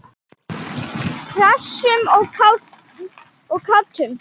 Hressum og kátum.